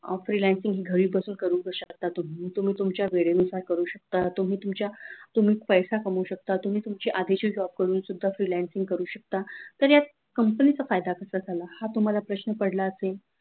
freelancing घरी बसून करू शकता तुम्ही तुम्ही तुमच्या वेळेनुसार करू शकता तुम्ही तुमच्या पैसा कमवू शकता तुम्ही तुमच्या आधीचे job करून सुद्धा freelancing करू शकता तरी या company चा फायदा कसा हा तुम्हाला प्रश्न पडला असेल